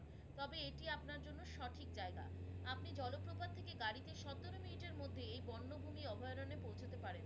তবে এটি আপনার জন্য সঠিক জায়গা। আপনি জলপ্রপাত থেকে গাড়িতে সতেরো মিনিটের মধ্যে এই বন্যভুমি অভয়ারণ্যে পৌঁছাতে পারেন।